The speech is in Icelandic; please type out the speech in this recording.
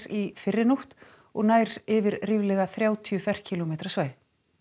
í fyrrinótt og nær yfir ríflega þrjátíu ferkílómetra svæði